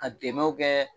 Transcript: Ka dɛmɛw kɛ